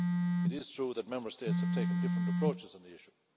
It is true that Member States have taken different approaches on the issue.